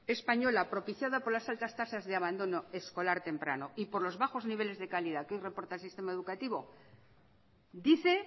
española propiciada por las altas tasas de abandono escolar temprano y por los bajos niveles de calidad que hoy reporta el sistema educativo dice